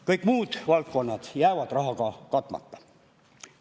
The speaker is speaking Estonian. Kõik muud valdkonnad jäävad rahaga katmata.